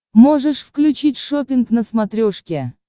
можешь включить шоппинг на смотрешке